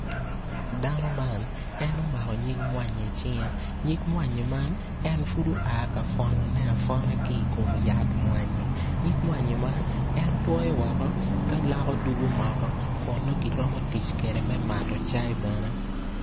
Dano man en omako nyig mwanyi i cinge, nyig mwanyi man en pud oa ka pwonone apwona ki i kom yat mwanyi nyig mwanyi man en twoyo woko ka loko dwogo moko kun nongo kiromo tic kwede me mato cayi bene.